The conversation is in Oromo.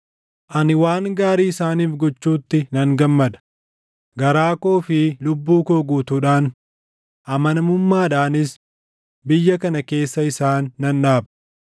Ani waan gaarii isaaniif gochuutti nan gammada; garaa koo fi lubbuu koo guutuudhaan, amanamummaadhaanis biyya kana keessa isaan nan dhaaba.